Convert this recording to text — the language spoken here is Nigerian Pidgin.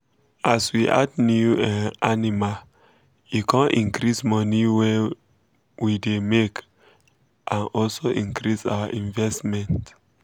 as we add new um animal e come increase moni wey w um dey make and also increase our investment